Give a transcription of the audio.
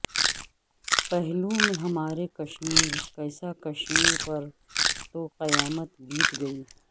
پہلو میں ہمارے کشمیر کیسا کشمیر پر تو قیامت بیت گئی